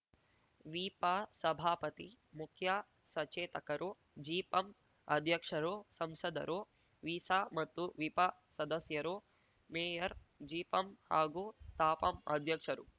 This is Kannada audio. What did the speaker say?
ವಿಪ ಸಭಾಪತಿ ಮುಖ್ಯ ಸಚೇತಕರು ಜಿಪಂ ಅಧ್ಯಕ್ಷರು ಸಂಸದರು ವಿಸ ಮತ್ತು ವಿಪ ಸದಸ್ಯರು ಮೇಯರ್ ಜಿಪಂ ಹಾಗೂ ತಾಪಂ ಅಧ್ಯಕ್ಷರು